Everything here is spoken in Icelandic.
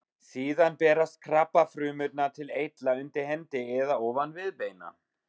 Síðan berast krabbafrumurnar til eitla undir hendi eða ofan viðbeina.